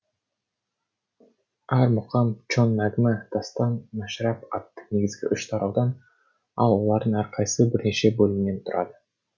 әр мұқам чон нәгмә дастан мәшрәп атты негізгі үш тараудан ал олардың әрқайсысы бірнеше бөлімнен тұрады